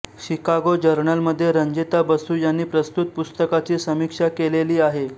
Chicago जर्नलमध्ये रंजिता बसू यांनी प्रस्तुत पुस्तकाची समीक्षा केलेली आहे